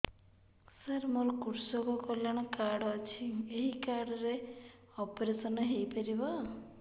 ସାର ମୋର କୃଷକ କଲ୍ୟାଣ କାର୍ଡ ଅଛି ଏହି କାର୍ଡ ରେ ଅପେରସନ ହେଇପାରିବ